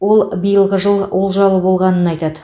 ол биылғы жыл олжалы болғанын айтады